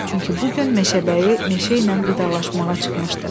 Çünki bu gün meşəbəyi meşə ilə vidalaşmağa çıxmışdı.